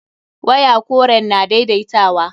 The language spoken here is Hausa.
Waya koren na daidaitawa.